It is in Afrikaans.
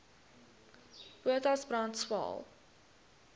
potas brand swael